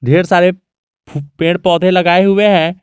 ढेर सारे फू पेड़ पौधे लगाए हुए है।